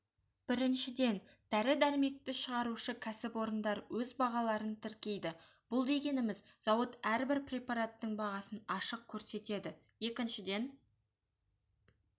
біріншіден дәрі-дәрмекті шығарушы кәсіпорындар өз бағаларын тіркейді бұл дегеніміз зауыт әрбір препараттың бағасын ашық көрсетеді екіншіден